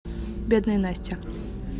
бедная настя